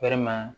Walima